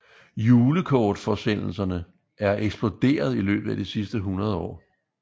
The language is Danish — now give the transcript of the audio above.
Julekortforsendelserne er eksploderet i løbet af de sidste 100 år